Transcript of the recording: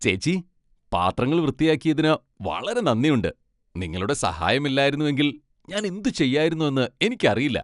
ചേച്ചി, പാത്രങ്ങൾ വൃത്തിയാക്കിയതിന് വളരെ നന്ദിയുണ്ട്. നിങ്ങളുടെ സഹായമില്ലായിരുന്നുവെങ്കിൽ ഞാൻ എന്തു ചെയ്യായിരുന്നെന്ന് എനിക്കറിയില്ല.